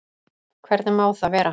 Hvernig má það vera?